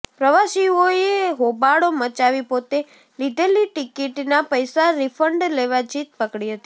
પ્રવાસીઓએ હોબાળો મચાવી પોતે લીધેલી ટીકીટના પૈસા રિફંડ લેવા જીદ પકડી હતી